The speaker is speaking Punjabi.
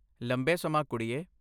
ਲੰਬੇ ਸਮਾਂ ਕੁੜੀਏ।